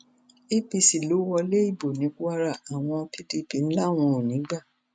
apc ló wọlé ìbò ní kwara àwọn pdp làwọn kò ní í gbà